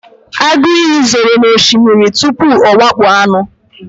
agụ iyi zoro n'osimiri tupu ọ wakpo anụ